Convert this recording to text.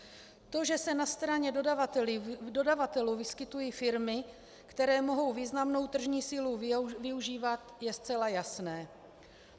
To, že se na straně dodavatelů vyskytují firmy, které mohou významnou tržní sílu využívat, je zcela jasné.